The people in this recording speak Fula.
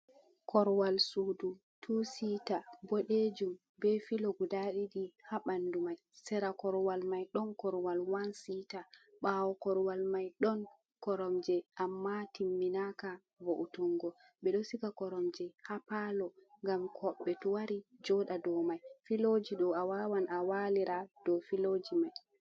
Koruwal sudu, tiri sita ɓoɗejum ɓe filo guda ɗiɗi ha ɓandu mai, sera koruwal mai, ɗon koruwal wan sita, ɓawo koruwal mai, ɗon koromje, amma timmi naka vo’utungo, ɓeɗo siga koromje ha palo ngam hoɓɓe to wari joɗa ɗou mai, filoji ɗo a wawan a walira ɗo filoji mai.